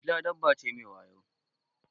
Dila dabba ce mai wayo.